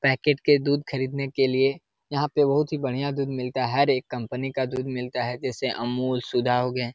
Packet के दूध ख़रीदने के लिए यहाँ पे बहुत ही बढ़िया दूध मिलता है। हर एक कंपनी का दूध मिलता है जैसे अमूल सुधा हो गए।